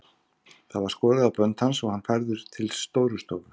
Það var skorið á bönd hans og hann færður til Stórustofu.